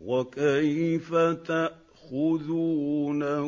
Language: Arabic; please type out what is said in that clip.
وَكَيْفَ تَأْخُذُونَهُ